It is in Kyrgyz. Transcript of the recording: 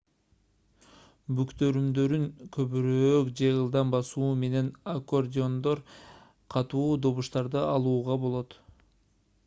бүктөрүмдөрүн көбүрөөк же ылдам басуу менен аккордеондон катуу добуштарды алууга болот